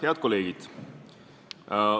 Head kolleegid!